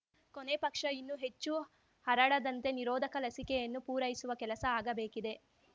ಕೊನೆ ಪಕ್ಷ ಇನ್ನು ಹೆಚ್ಚು ಹರಡದಂತೆ ನಿರೋಧಕ ಲಸಿಕೆಯನ್ನು ಪೂರೈಸುವ ಕೆಲಸ ಆಗಬೇಕಿದೆ